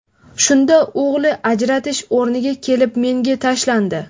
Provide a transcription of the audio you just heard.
Shunda o‘g‘li ajratish o‘rniga kelib menga tashlandi.